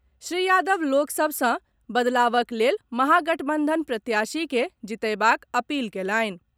श्री यादव लोक सभ सॅ बदलावक लेल महागठबंधन प्रत्याशी के जीतएबाक अपील कएलनि।